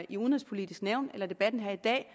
i udenrigspolitisk nævn eller i debatten her i dag